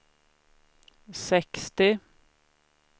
sextio